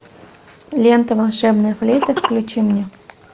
лента волшебная флейта включи мне